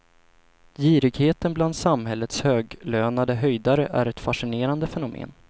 Girigheten bland samhällets höglönade höjdare är ett fascinerande fenomen.